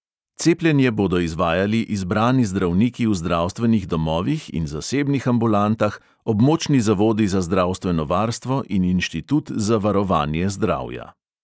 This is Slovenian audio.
Cepljenje bodo izvajali izbrani zdravniki v zdravstvenih domovih in zasebnih ambulantah, območni zavodi za zdravstveno varstvo in inštitut za varovanje zdravja.